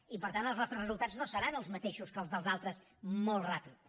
i per tant els nostres resultats no seran els mateixos que els dels altres molt ràpids